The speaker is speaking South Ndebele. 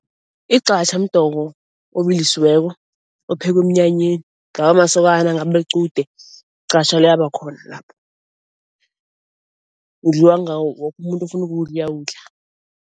Igqatjha mdoko obilisiweko ophekwa emnyanyeni, kungaba masokana kungaba liqude gqatjha liyabakhona lapho. Udliwa woke umuntu ofuna ukuwudla uyawudla.